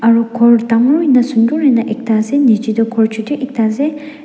aro khor dangor hoina sunder hoina ekta ase nichae tae khor chutu ektaase.